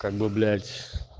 как бы блять